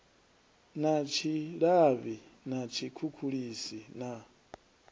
na tshilavhi na tshikhukhulisi na